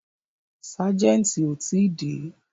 Ságẹ̀ntì ò tí dé.